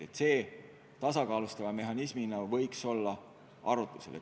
Seda võiks kui tasakaalustavat mehhanismi arutada.